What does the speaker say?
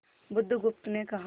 बुधगुप्त ने कहा